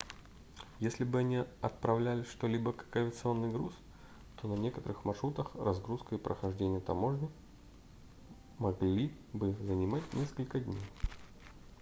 если бы они отправляли что-либо как авиационный груз то на некоторых маршрутах разгрузка и прохождение таможни могли бы занимать несколько дней